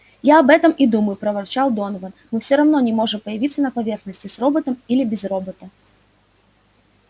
я об этом и думаю проворчал донован мы всё равно не можем появиться на поверхности с роботом или без робота